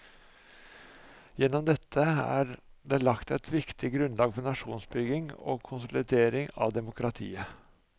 Gjennom dette er det lagt eit viktig grunnlag for nasjonsbygging og konsolidering av demokratiet.